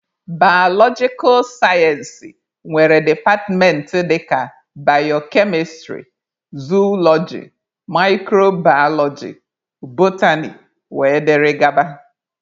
Baalojikal sayensị nwere departmentị dịka bayokemistrị, zooloji, mikrobaaloji, botany wdg